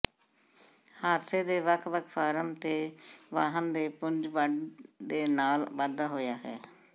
ਹਾਦਸੇ ਦੇ ਵੱਖ ਵੱਖ ਫਾਰਮ ਦੇ ਵਾਹਨ ਦੇ ਪੁੰਜ ਵੰਡ ਦੇ ਨਾਲ ਵਾਧਾ ਹੋਇਆ ਹੈ